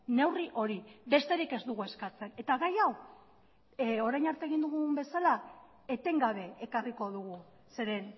neurri hori besterik ez dugu eskatzen eta gai hau orain arte egin dugun bezala etengabe ekarriko dugu zeren